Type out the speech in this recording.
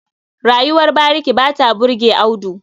Rayuwar bariki ba ta burge Audu.